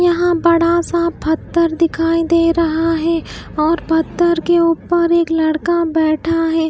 यहां बड़ा सा फत्थर दिखाई दे रहा है और पत्थर के ऊपर एक लड़का बैठा है।